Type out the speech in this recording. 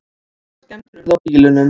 Nokkrar skemmdir urðu á bílunum